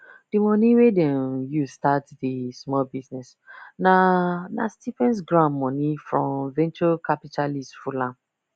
the money wey them use start the small business na na stipends grants money from venture capitalists full am